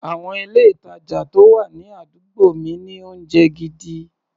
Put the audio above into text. Àwọn ilé-ìtàjà tó wà ní àdúgbò mi ní oúnjẹ gidi.